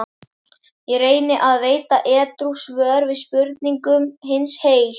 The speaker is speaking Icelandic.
Ég reyni að veita edrú svör við spurningum hins heil